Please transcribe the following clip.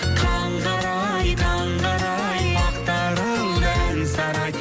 таңғы арай таңғы арай ақтарылды ән сарай